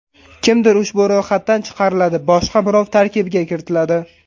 Kimdir ushbu ro‘yxatdan chiqariladi, boshqa birov tarkibga kiritiladi.